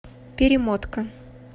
перемотка